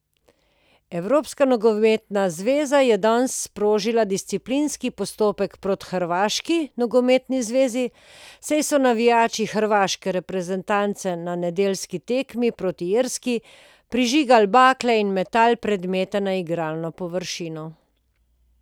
Evropska nogometna zveza je danes sprožila disciplinski postopek proti Hrvaški nogometni zvezi, saj so navijači hrvaške reprezentance na nedeljski tekmi proti Irski prižigali bakle in metali predmete na igralno površino.